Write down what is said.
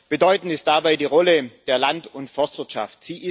Sehr bedeutend ist dabei die Rolle der Land und Forstwirtschaft.